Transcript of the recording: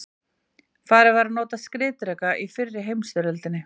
farið var að nota skriðdreka í fyrri heimsstyrjöldinni